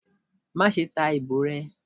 ma sé ta ibò re!